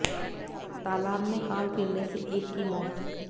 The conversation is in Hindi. तालाब में कार गिरने से एक की मौत